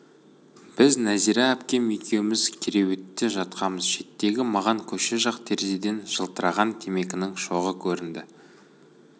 біз нәзира әпкем екеуміз кереуетте жатқамыз шеттегі маған көше жақ терезеден жылтыраған темекінің шоғы көрінді